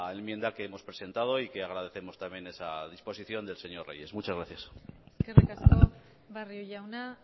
enmienda que hemos presentado y que agradecemos también esa disposición del señor reyes muchas gracias eskerrik asko barrio jauna